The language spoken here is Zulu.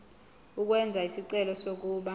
ukwenza isicelo sokuba